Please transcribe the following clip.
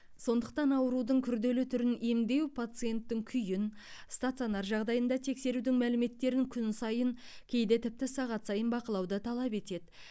сондықтан аурудың күрделі түрін емдеу пациенттің күйін стационар жағдайында тексерудің мәліметтерін күн сайын кейде тіпті сағат сайын бақылауды талап етеді